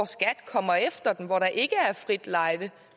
skat kommer efter dem og hvor der ikke er frit lejde